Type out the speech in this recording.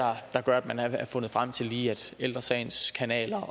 der gør at man har fundet frem til at lige ældre sagens kanaler